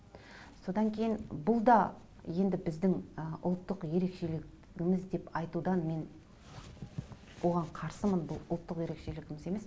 содан кейін бұл да енді біздің ы ұлттық ерекшелігіміз деп айтудан мен оған қарсымын бұл ұлттық ерекшелігіміз емес